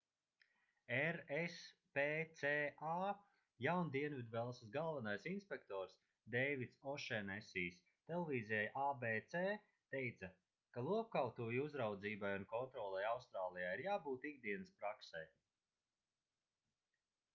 rspca jaundienvidvelsas galvenais inspektors deivids ošenesijs televīzijai abc teica ka lopkautuvju uzraudzībai un kontrolei austrālijā ir jābūt ikdienas praksei